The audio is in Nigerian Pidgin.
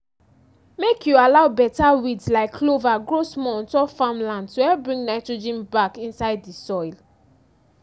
make you allow better weeds like clover grow small on top farm land to help bring nitrogen back inside di soil.